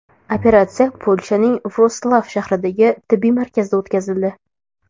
Operatsiya Polshaning Vrotslav shahridagi tibbiy markazda o‘tkazildi.